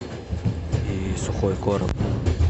и сухой корм